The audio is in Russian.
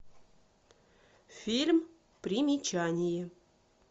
фильм примечание